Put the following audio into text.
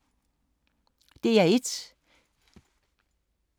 DR1